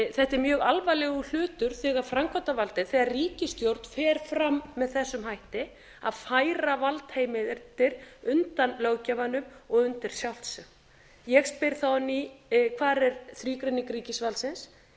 þetta er mjög alvarlegur hlutur þegar framkvæmdarvaldið þegar ríkisstjórn fer fram með þessum hætti að færa valdheimildir undan löggjafanum og undir sjálft sig ég spyr þá á ný hvar er þrígreining ríkisvaldsins